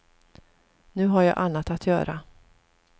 Nu har jag annat att göra.